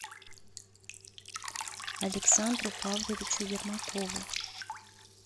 александру павловичу ермакову